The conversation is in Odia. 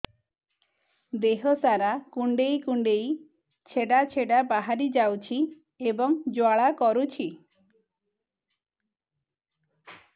ଦେହ ସାରା କୁଣ୍ଡେଇ କୁଣ୍ଡେଇ ଛେଡ଼ା ଛେଡ଼ା ବାହାରି ଯାଉଛି ଏବଂ ଜ୍ୱାଳା କରୁଛି